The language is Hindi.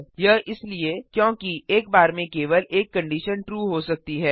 यह इसलिए क्योंकि एक बार में केवल एक कंडिशन ट्रू हो सकती है